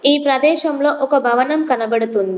ఈ ప్రదేశంలో ఒక భవనం కనబడుతుంది.